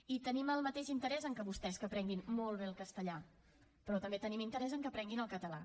i tenim el mateix interès que vostès en que aprenguin molt bé el castellà però també tenim interès en que aprenguin el català